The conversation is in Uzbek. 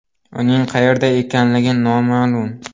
Uning qayerda ekanligi noma’lum.